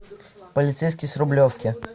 полицейский с рублевки